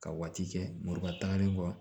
Ka waati kɛ muruba tagalen kɔ